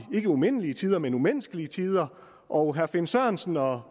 ikke umindelige tider men i umenneskelige tider og herre finn sørensen og herre